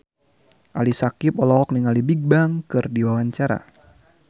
Ali Syakieb olohok ningali Bigbang keur diwawancara